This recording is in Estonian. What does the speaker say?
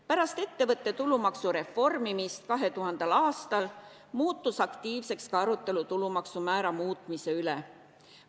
Pärast ettevõtte tulumaksu reformimist 2000. aastal muutus aktiivseks ka arutelu tulumaksumäära muutmise üle.